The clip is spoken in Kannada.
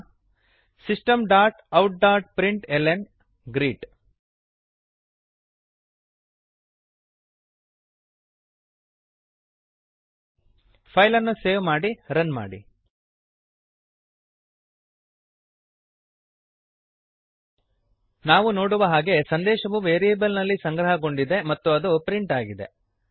systemoutಪ್ರಿಂಟ್ಲ್ನ system dot out dot print L N greet ಫೈಲನ್ನು ಸೇವ್ ಮಾಡಿ ರನ್ ಮಾಡಿ ನಾವು ನೋಡುವ ಹಾಗೆ ಸಂದೇಶವು ವೇರಿಯೆಬಲ್ ನಲ್ಲಿ ಸಂಗ್ರಹಗೊಂಡಿದೆ ಮತ್ತು ಅದು ಪ್ರಿಂಟ್ ಆಗಿದೆ